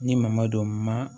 Ni mama don ma